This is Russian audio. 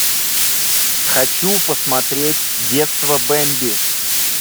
хочу посмотреть детство бемби